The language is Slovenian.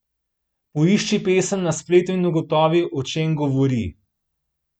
Poišči pesem na spletu in ugotovi, o čem govori?